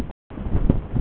Og nú sá ég frelsið fram